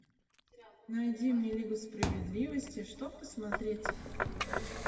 найди мне лигу справедливости что посмотреть